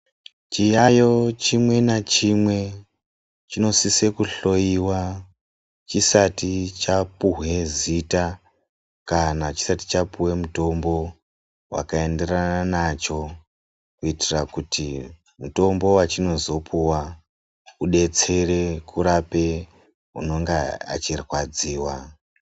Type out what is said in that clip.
Chiyayo chimwe nachimwe chinosise kuhloyiwa chisati chapuhwe zita kana chisati chapuwe mutombo wakaenderana nacho kuitira kuti mutombo wachinozopuwa a udetsere kurape unenge echirwadziwa.